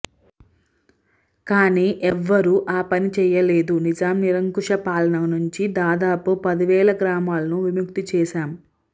కానీ ఎవరూ ఆ పని చేయలేదు నిజాం నిరంకుశ పాలన నుంచి దాదాపు పదివేల గ్రామాలను విముక్తం చేశాం